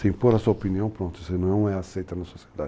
Sem por a sua opinião, pronto, você não é aceita na sociedade.